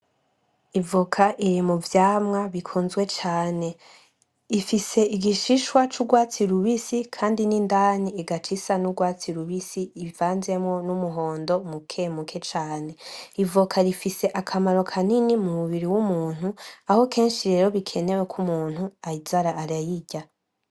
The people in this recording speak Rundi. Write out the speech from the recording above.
Ivoka iri muvyamwa bikunzwe cane ifise igishishwa c'urwatsi rubisi, Kandi n'indani igaca isa n'urwatsi rubisi ivanzemwo n'umuhondo mule mule cane, ivoka rifise akamaro kanini mumubiri w'umuntu aho kenshi bikenewe ko umuntu aza arayirya.